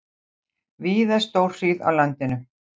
Víða stórhríð á landinu